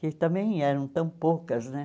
Que também eram tão poucas, né?